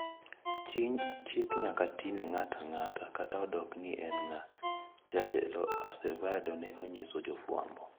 Ckik nyaka ti ne ng`atang`ata kata odoko ni in ng`a, jatelo Acevedo ne onyiso jofwambo.